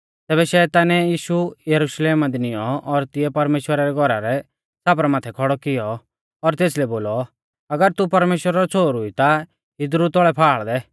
तैबै शैतानै यीशु यरुशलेम दी निऔं और तिऐ परमेश्‍वरा रै घौरा रै छ़ापरा माथै खौड़ौ कियौ और तेसलै बोलौ अगर तू परमेश्‍वरा रौ छ़ोहरु ई ता इदरु तौल़ै फाल़ दै